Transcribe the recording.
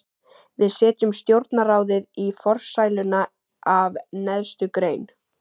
Við setjum stjórnarráðið í forsæluna af neðstu grein.